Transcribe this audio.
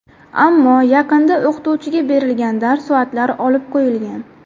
Ammo yaqinda o‘qituvchiga berilgan dars soatlari olib qo‘yilgan.